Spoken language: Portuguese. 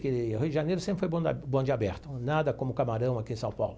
Que Rio de Janeiro sempre foi bonde o bonde aberto, nada como Camarão aqui em São Paulo.